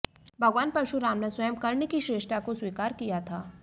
भगवान परशुराम ने स्वयं कर्ण की श्रेष्ठता को स्वीकार किया था